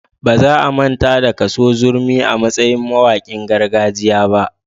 Ba za a manta da Kaso Zurmi a matsayin mawaƙin gargajiya ba.